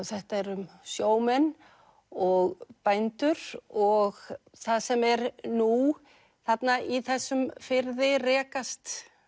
þetta er um sjómenn og bændur og það sem er nú þarna í þessum firði rekast